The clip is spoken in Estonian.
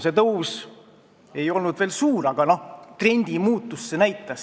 See tõus ei olnud veel suur, aga trendi muutust see uuring näitas.